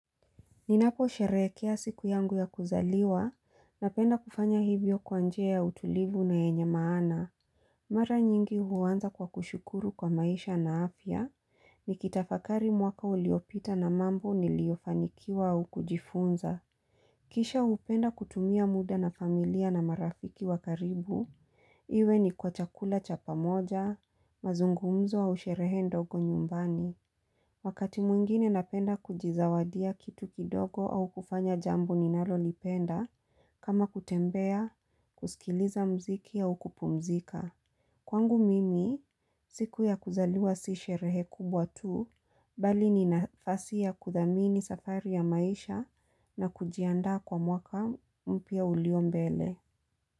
Ninaposherehekea siku yangu ya kuzaliwa, napenda kufanya hivyo kwa njia ya utulivu na yenya maana. Mara nyingi huanza kwa kushukuru kwa maisha na afya. Nikitafakari mwaka uliopita na mambo niliofanikiwa au kujifunza. Kisha hupenda kutumia muda na familia na marafiki wa karibu. Iwe ni kwa chakula cha pamoja, mazungumzo au sheree ndogo nyumbani. Wakati mwingine napenda kujizawadia kitu kidogo au kufanya jambu ninalolipenda kama kutembea, kusikiliza mziki au kupumzika. Kwangu mimi, siku ya kuzaliwa si sherehe kubwa tu, bali ni nafasi ya kuthamini safari ya maisha na kujiandaa kwa mwaka mpya ulio mbele.